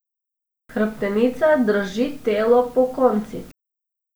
Hrbtenica drži telo pokonci.